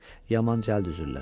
Yaman cəld üzürlər.